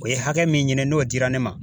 O ye hakɛ min ɲini n'o dira ne ma